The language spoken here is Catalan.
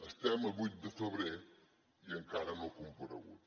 estem a vuit de febrer i encara no ha comparegut